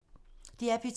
DR P2